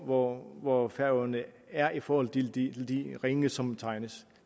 hvor hvor færøerne er i forhold til de ringe som tegnes